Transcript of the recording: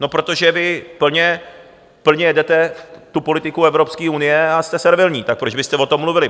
No protože vy plně jedete tu politiku Evropské unie a jste servilní, tak proč byste o tom mluvili?